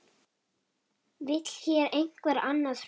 Vill hér einhver annað hrun?